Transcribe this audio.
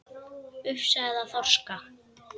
Ufsa eða þorska?